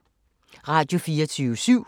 Radio24syv